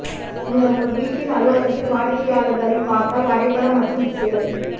நீங்கள் உங்கள் வீட்டில் அலுவலகத்தில் வாடிக்கையாளர்களை பார்த்தால் வரைபடம் மற்றும் திசைகளில்